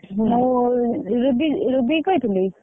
Ruby ରୁବିକି କହିଥିଲୁ?